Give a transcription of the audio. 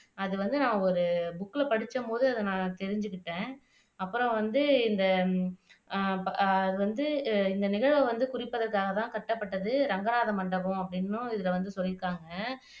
அது வந்து அவங்க ஒரு புக்குல படிச்சபோது நான் தெரிஞ்சுகிட்டேன் அப்புறம் வந்து இந்த அஹ் அது வந்து இந்த நிகழ்வை வந்து குறிப்பதற்காகத்தான் கட்டப்பட்டது ரங்கராஜ மண்டபம் அப்படின்னும் இதுல வந்து சொல்லியிருக்காங்க